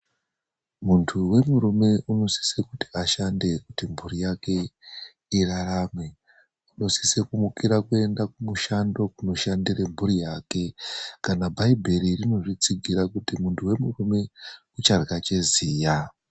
Muntu wemurume unosisara kuti ashande kuti mhuri yake irarame. Unosisira kumukira kuenda kumushando kundoshandira mhuri yake ,kana bhaibheri rinozvitsigira kuti muntu wemurume ucharya cheziya.